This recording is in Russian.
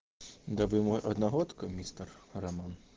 да вы мой одногодка мистер роман